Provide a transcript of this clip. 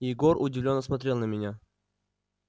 егор удивлённо смотрел на меня